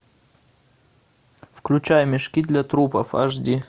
включай мешки для трупов аш ди